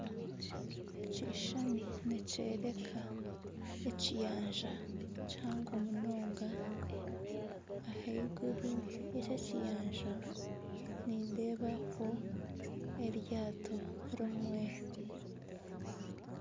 Ekishuushani nikyoreka ekiyanja kihango munonga ahaiguru y'ekyo kiyanja nindeebaho eryato rimwe.